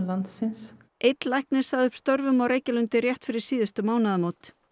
landsins einn læknir sagði upp störfum á Reykjalundi rétt fyrir síðustu mánaðamót